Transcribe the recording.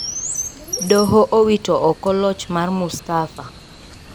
Doho owito oko loch mar Mustafa.